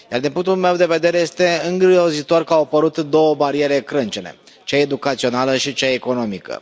Din punctul meu de vedere este îngrozitor că au apărut două bariere crâncene cea educațională și cea economică.